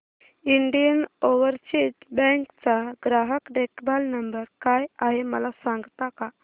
Indian Overseas Bank चा ग्राहक देखभाल नंबर काय आहे मला सांगता का